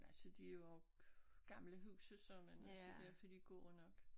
Altså de jo gamle huse så men altså derfor er de jo gode nok